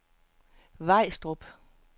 Vejstrup